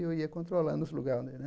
E eu ia controlando os lugar, né?